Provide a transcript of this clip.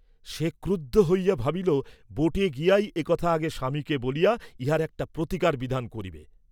সে ক্রুদ্ধ হইয়া ভাবিল, বোটে গিয়াই এ কথা আগে স্বামীকে বলিয়া, ইহার একটা প্রতিকার বিধান করিবে!